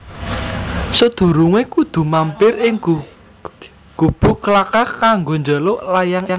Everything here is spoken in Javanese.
Sadurungé kudu mampir ing Gubugklakah kanggo njaluk layang idin